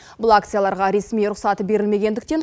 бұл акцияларға ресми рұқсат берілмегендіктен